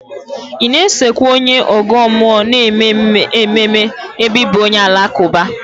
Ị na-esokwa onye ọgọ mmụọ na-eme ememe ebe ị bụ onye Alakụba?